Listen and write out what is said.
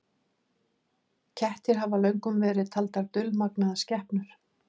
Kettir hafa löngum verið taldar dulmagnaðar skepnur.